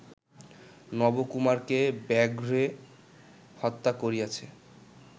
নবকুমারকে ব্যাঘ্রে হত্যা করিয়াছে